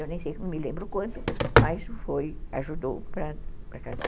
Eu nem sei, não me lembro o quanto, mas ajudou para para casar.